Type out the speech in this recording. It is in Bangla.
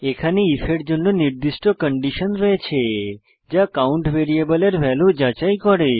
এখানে আইএফ এর জন্য নির্দিষ্ট কন্ডিশন রয়েছে যা কাউন্ট ভ্যারিয়েবলের ভ্যালু যাচাই করে